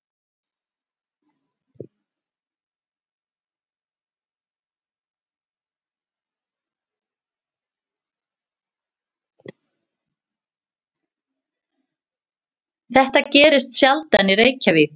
Þetta gerist sjaldan í Reykjavík.